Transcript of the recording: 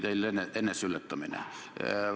See oli teil eneseületamine.